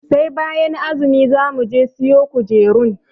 Sai bayan azumi za muje siyo kujerun.